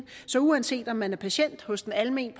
så uanset om man er patient hos en alment